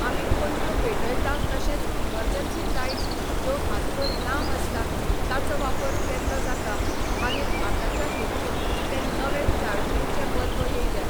आमी पणट्यो पेटयता तशेंच इमर्जन्सी लायटस ज्यो हातभर लांब आसतात ताचो वापर केल्लो जाता मागीर आताच्या हेतुन ते नवें चार्जींगेचे बल्ब येयल्या